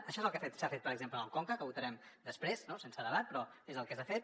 això és el que s’ha fet per exemple en el conca que votarem després no sense debat però és el que s’ha fet